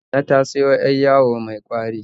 Nana ta siyo 'yar yawo mai ƙwari